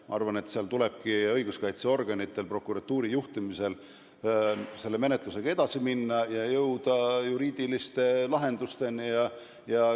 Ma arvan, et õiguskaitseorganitel prokuratuuri juhtimisel tuleb menetlusega edasi minna ja jõuda juriidiliste lahendusteni.